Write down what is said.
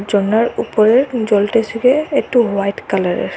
জলের উপরের জলটি একটু হোয়াইট কালারের।